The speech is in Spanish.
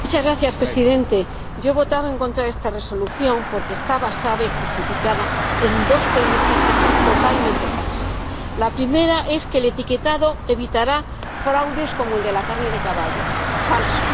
Señor Presidente, yo he votado en contra de esta Resolución porque está basada y justificada en dos premisas que son totalmente falsas. La primera es que el etiquetado evitará fraudes como el de la carne de caballo falso.